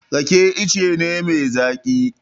Rake ice ne mai zaƙi.